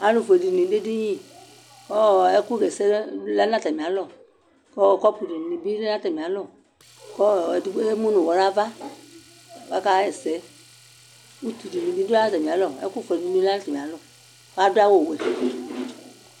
Alufue dini dʋ ediniKʋ ɔɔɔ ɛkʋ ɣɛsɛ lɛ nʋ atamialɔ kɔɔɔ kɔpu dini bi lɛ natamialɔKʋ ɔɔɔ edigbo emu nʋ ʋwɔ nava kʋ akaɣɛsɛutu dini bi dʋatamialɔɛkʋ fue dni bi lɛ natamialɔ kadu'awu wɛ